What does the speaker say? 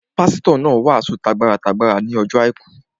Pásítọ̀ náà wàásù t'agbára t'agbára ní ọjọ́ àìkú